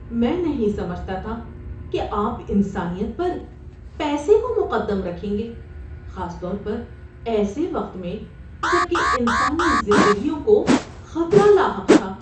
میں نہیں سمجھتا تھا کہ آپ انسانیت پر پیسے کو مقدم رکھیں گے، خاص طور پر ایسے وقت میں جب کہ انسانی زندگیوں کو خطرہ لاحق تھا۔